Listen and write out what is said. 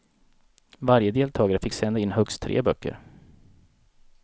Varje deltagare fick sända in högst tre böcker.